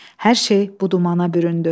Hər şey bu dumana büründü.